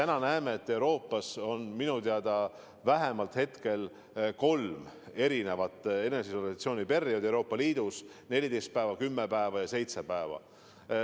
Me näeme, et Euroopa Liidus on vähemalt kolme pikkusega eneseisolatsiooni perioodi: 14 päeva, kümme päeva ja seitse päeva.